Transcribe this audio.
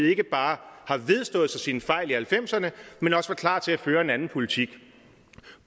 ikke bare har vedstået sig sine fejl i nitten halvfemserne men også var klar til at føre en anden politik